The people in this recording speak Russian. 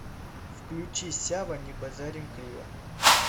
включи сява не базарим криво